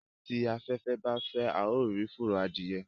tí aféfé bá fè ào rí furo Adìye